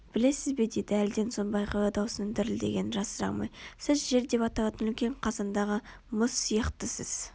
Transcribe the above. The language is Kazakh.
білесіз бе деді әлден соң бағила даусының дірілдегенін жасыра алмай сіз жер деп аталатын үлкен қазандағы мұз сияқтысыз